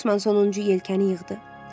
Los Mons 10-cu yelkəni yığdı.